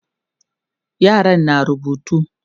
yaran na rubutu